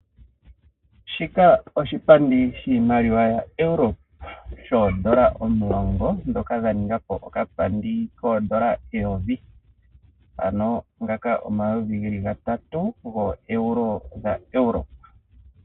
Shika oshipandi shiimaliwa yaEurope, shoondola omulongo dhono dha ninga po okapandi koondola eyovi. Ano ngaka omayovi ge li gatatu gooEuro dha Europe.